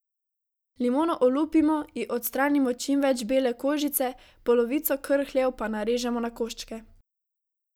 Limono olupimo, ji odstranimo čim več bele kožice, polovico krhljev pa narežemo na koščke.